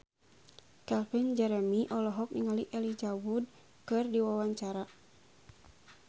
Calvin Jeremy olohok ningali Elijah Wood keur diwawancara